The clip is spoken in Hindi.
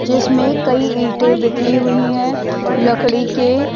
जिसमें कई ईंटें बिखरी हुई हैंलकड़ी के--